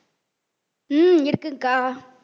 உம் இருக்குங்கக்கா